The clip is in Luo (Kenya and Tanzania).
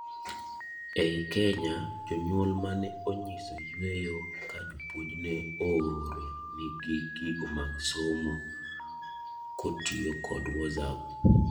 ei Kenya, jonyuol mne onyiso yueyo ka jopuonj ne ooro nigi gigo mag somo kotiyo kod wosap